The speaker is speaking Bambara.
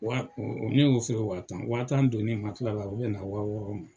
Wa ne y'o feere wa tan wa tan donnen la u bɛ na wa wɔɔrɔ ma.